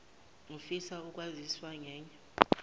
ufisa ukwaziswa ngenye